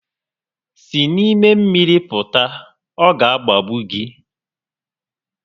Si n'ime mmiri pụta, ọ ga agbagbu gi